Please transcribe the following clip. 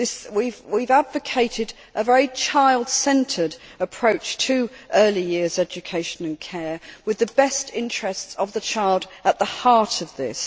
We have advocated a very child centred approach to early years education and care, with the best interests of the child at the heart of this.